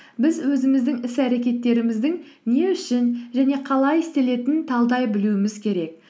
біз өзіміздің іс әрекеттеріміздің не үшін және қалай істелетінін талдай білуіміз керек